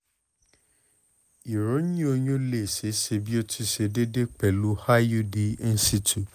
iroyin oyun le ṣee ṣe bi o ti ṣe deede pẹlu iud in situ